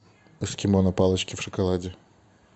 эскимо на палочке в шоколаде